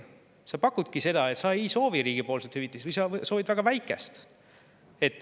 Sa, et sa ei soovi riigilt hüvitist või soovid väga väikest.